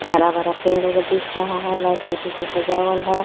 हरा भरा पेड़ उर दिख रहा है लाइट बत्ती से स्जावल हैं.